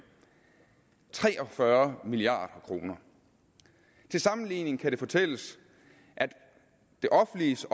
tre og fyrre milliard kroner til sammenligning kan det fortælles at det offentliges